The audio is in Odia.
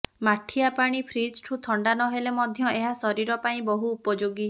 ମାଠିଆ ପାଣି ଫ୍ରିଜଠୁ ଥଣ୍ଡା ନହେଲେ ମଧ୍ୟ ଏହା ଶରୀରପାଇଁ ବହୁ ଉପଯୋଗୀ